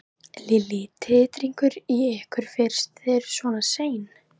Lillý: Titringur í ykkur fyrst þið eruð svona sein?